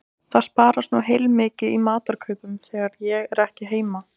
Það sparast nú heilmikið í matarkaupum þegar ég er ekki heima